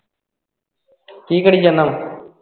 ਕੀ ਕਰੀ ਜਾਨਾ ਵਾਂ?